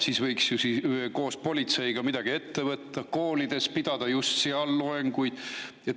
Siis võiks ju koos politseiga midagi ette võtta, pidada just seal koolides loenguid.